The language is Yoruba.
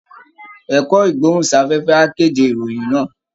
Ẹ̀kọ́ Ìgbóhùn-sáfẹ́fẹ́ á kéde ìròyìn náà